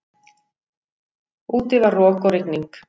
Úti var rok og rigning.